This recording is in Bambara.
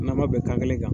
Na ma bɛnkan kelen kan